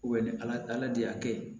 ni ala de y'a kɛ